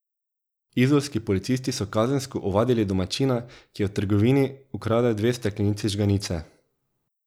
Izolski policisti so kazensko ovadili domačina, ki je v trgovini ukradel dve steklenici žganice.